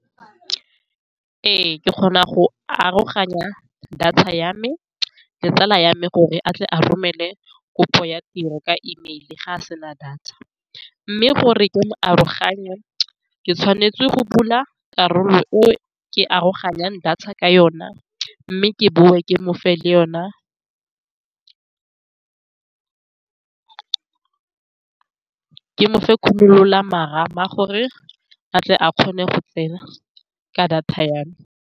Ee, ke kgona go aroganya data ya me le tsala ya me gore a tle a romele kopo ya tiro ka email. Fa a sena data, mme gore ke mo aroganye, ke tshwanetse go bula karolo o ke aroganyang data ka yone, mme ke boe ke mofe le yone ke mofe marama, gore a tle a kgone go tsena ka data ya me.